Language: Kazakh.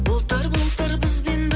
бұлттар бұлттар бізбен бір